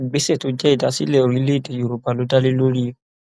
ìgbésẹ tó jẹ ìdásílẹ orílẹèdè yorùbá ló dá lé lórí